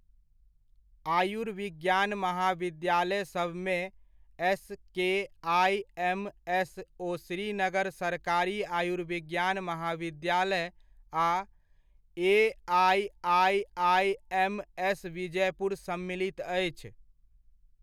आयुर्विज्ञान महाविद्यालय सबमे एस.के.आइ.एम.एस ओ श्रीनगर सरकारी आयुर्विज्ञान महाविद्यालय आ ए.आइ.आइ.आइ.एम.एस. विजयपुर सम्मिलित अछि।